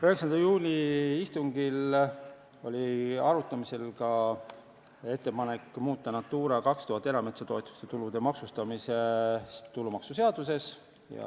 9. juuni istungil oli arutuse all ka ettepanek muuta Natura 2000 erametsatoetuste tulude maksustamist tulumaksuseaduses.